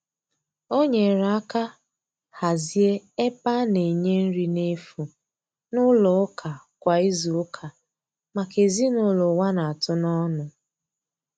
O nyere aka hazie ebe a na-enye nri na efu n'ụlọ ụka kwa izuụka maka ezinụlọ ụwa na-atụ n'ọnụ.